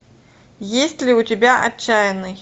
есть ли у тебя отчаянный